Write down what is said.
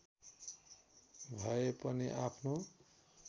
भए पनि आफ्नो